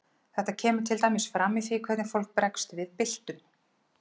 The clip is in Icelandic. Þetta kemur til dæmis fram í því hvernig fólk bregst við byltum.